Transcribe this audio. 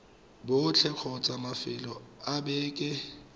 botlhe kgotsa mafelo a beke